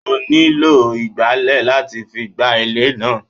ó nílo ígbalẹ̀ latí fí gbá ilé náà